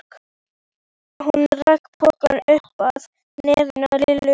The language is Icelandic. Hún rak pokann upp að nefinu á Lillu.